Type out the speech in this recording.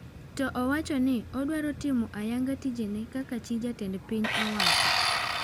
To owachoni odwaro timo ayanga tijene kaka chi jatend piny owacho.